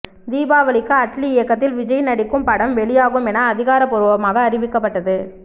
தீபாவளிக்கு அட்லி இயக்கத்தில் விஜய் நடிக்கும் படம் வெளியாகும் என அதிகாரப்பூர்வமாக அறிவிக்கப்பட்டது